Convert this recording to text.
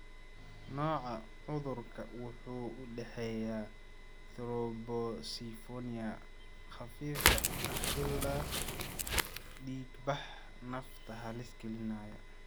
Nooca cudurka wuxuu u dhexeeyaa thrombocytopenia khafiif ah ilaa dhiigbax nafta halis gelinaya.